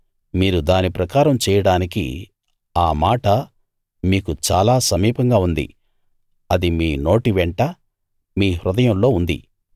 మీరు దాని ప్రకారం చేయడానికి ఆ మాట మీకు చాలా సమీపంగా ఉంది అది మీ నోటి వెంట మీ హృదయంలో ఉంది